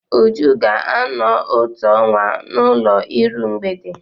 Uju ga-anọ otu ọnwa n'ụlọ iru mgbede.